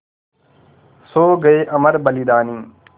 सो गये अमर बलिदानी